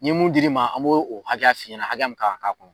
Ye mun dir'i ma an b'o o hakɛya f'i ɲɛna hakaya min kan ka k'a kɔrɔ